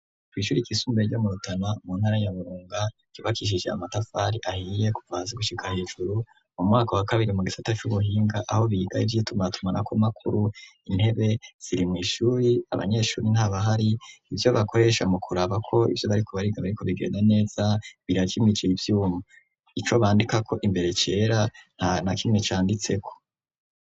ku Ishure ryisumbuye ryo mu Rutana mu ntara ya burunga ry'ubakishije amatafari ahiye kuva hasi gushika hejuru mu mwaka wa kabiri mu gisata c'ubuhinga aho biga ivyitumatumana ko makuru intebe ziri mu ishuri abanyeshuri nta bahari ivyo bakoresha mu kuraba ko ivyo bariko bariga bariko bigenda neza birakimije ivyuma ico bandika ko imbere cera nta na kimwe cyanditse ko.